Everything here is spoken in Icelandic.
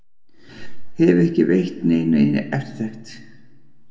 Hefur ekki veitt neinu eftirtekt.